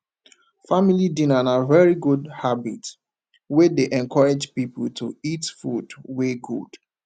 family dinner na very good habit wey dey encourage pipo to eat food wey good